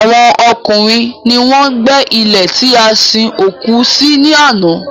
Àwọn ọkùnrin ni wọ́n gbé ilè tí a sin òkú sí ní àná